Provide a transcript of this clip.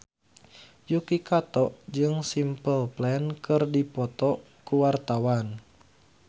Yuki Kato jeung Simple Plan keur dipoto ku wartawan